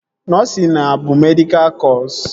Nọsịn a bụ medịkal kọsu?